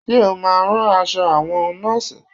Ṣe o máa rán aṣọ àwọn Nọ́ọ̀sì?